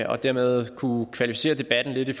og dermed kunne kvalificere debatten lidt i